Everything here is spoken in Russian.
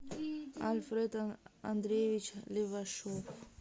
альфред андреевич левашов